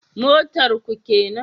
Motar ku kenan?